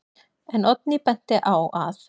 En Oddný benti á að: